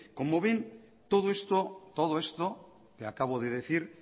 como ven todo esto que acabo de decir